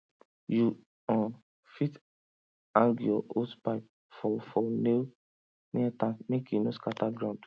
you um fit hang your hosepipe for for nail near tank make e no scatter ground